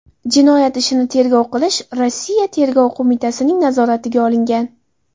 Jinoyat ishini tergov qilish Rossiya Tergov qo‘mitasining nazoratiga olingan.